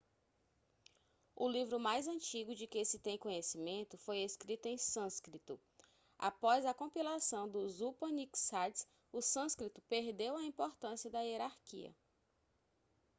o livro mais antigo de que se tem conhecimento foi escrito em sânscrito após a compilação dos upanixades o sânscrito perdeu a importância na hierarquia